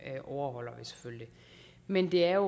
overholder vi selvfølgelig men det er